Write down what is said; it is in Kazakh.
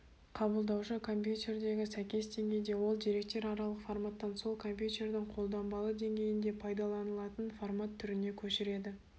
қабылдаушы компьютердегі сәйкес деңгейде ол деректер аралық форматтан сол компьютердің қолданбалы деңгейінде пайдаланылатын формат түріне көшіреді